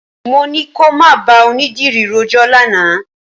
Mo ní kò má bá onídìrí rojọ́ lánàá.